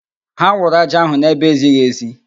Ha wụrụ ájá ahụ n'ebe ezighi ezi